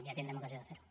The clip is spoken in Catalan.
ja tindrem ocasió de fer ho